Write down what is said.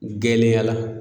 Gɛlɛya la